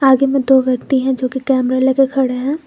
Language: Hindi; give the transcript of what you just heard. आगे में दो व्यक्ति हैं जोकि कैमरा लेकर खड़े हैं।